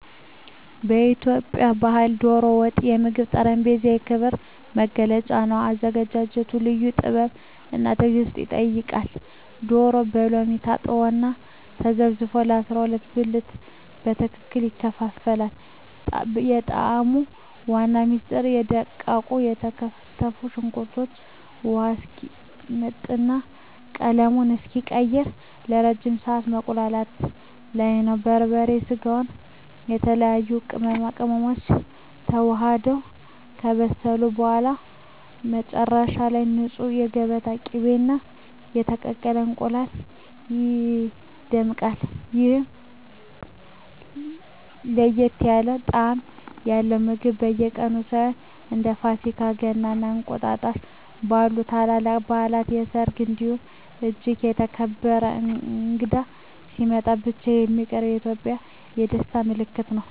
በኢትዮጵያ ባሕል "ዶሮ ወጥ" የምግብ ጠረጴዛ የክብር መገለጫ ነው። አዘገጃጀቱ ልዩ ጥበብና ትዕግስት ይጠይቃል፤ ዶሮው በሎሚ ታጥቦና ተዘፍዝፎ በ12 ብልት በትክክል ይከፋፈላል። የጣዕሙ ዋና ምስጢር በደቃቁ የተከተፈ ሽንኩርት ውሃው እስኪመጥና ቀለሙን እስኪቀይር ለረጅም ሰዓት መቁላላቱ ላይ ነው። በርበሬ፣ ስጋውና የተለያዩ ቅመማ ቅመሞች ተዋህደው ከበሰሉ በኋላ፣ መጨረሻ ላይ በንፁህ የገበታ ቅቤና በተቀቀለ እንቁላል ይደምቃል። ይህ ለየት ያለ ጣዕም ያለው ምግብ በየቀኑ ሳይሆን፣ እንደ ፋሲካ፣ ገና እና እንቁጣጣሽ ባሉ ታላላቅ በዓላት፣ በሰርግ እንዲሁም እጅግ የተከበረ እንግዳ ሲመጣ ብቻ የሚቀርብ የኢትዮጵያውያን የደስታ ምልክት ነው።